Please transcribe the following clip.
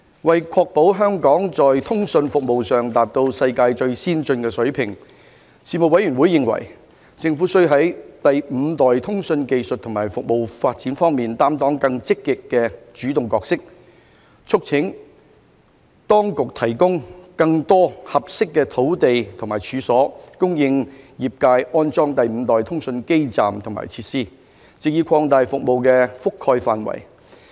為確保香港在通訊服務上達到世界最先進的水平，事務委員會認為，政府須在第五代通訊技術和服務發展方面擔當更積極的主動角色，促請當局提供更多合適的土地和處所，供業界安裝第五代通訊基站和設施，藉以擴大服務覆蓋範圍。